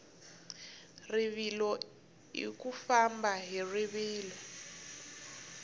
rivilo u famba hi rivilo